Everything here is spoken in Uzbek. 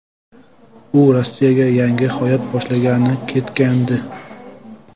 U Rossiyaga yangi hayot boshlagani ketgandi.